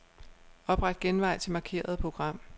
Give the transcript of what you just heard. Opret genvej til markerede program.